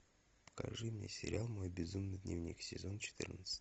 покажи мне сериал мой безумный дневник сезон четырнадцать